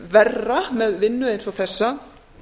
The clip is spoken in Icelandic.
verra með vinnu eins og þessa